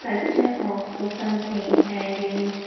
culpture of something and in --